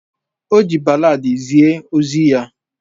O ji balladi zie ozi ya.